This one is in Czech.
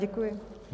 Děkuji.